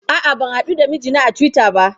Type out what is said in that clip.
A'a, ban haɗu da mijina a Twitter ba.